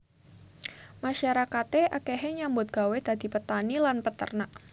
Masyarakate akehe nyambut gawé dadi petani lan peternak